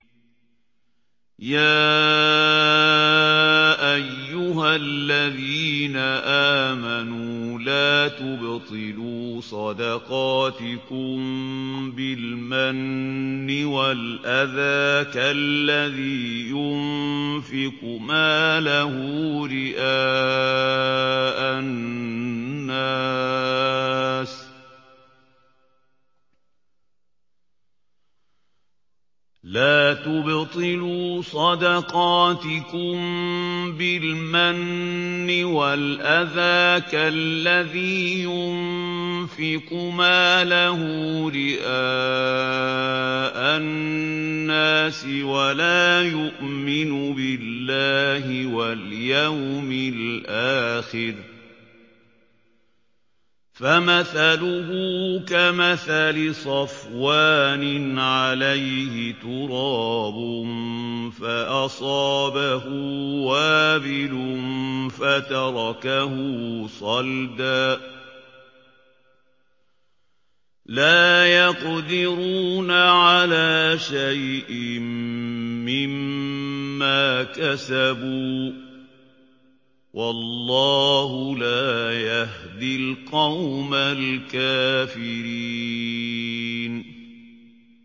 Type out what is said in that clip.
يَا أَيُّهَا الَّذِينَ آمَنُوا لَا تُبْطِلُوا صَدَقَاتِكُم بِالْمَنِّ وَالْأَذَىٰ كَالَّذِي يُنفِقُ مَالَهُ رِئَاءَ النَّاسِ وَلَا يُؤْمِنُ بِاللَّهِ وَالْيَوْمِ الْآخِرِ ۖ فَمَثَلُهُ كَمَثَلِ صَفْوَانٍ عَلَيْهِ تُرَابٌ فَأَصَابَهُ وَابِلٌ فَتَرَكَهُ صَلْدًا ۖ لَّا يَقْدِرُونَ عَلَىٰ شَيْءٍ مِّمَّا كَسَبُوا ۗ وَاللَّهُ لَا يَهْدِي الْقَوْمَ الْكَافِرِينَ